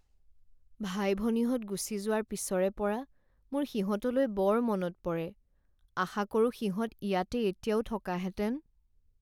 ভাই ভনীহঁত গুচি যোৱাৰ পিছৰে পৰা মোৰ সিহঁতলৈ বৰ মনত পৰে। আশা কৰো সিহঁত ইয়াতে এতিয়াও থকাহেতেন।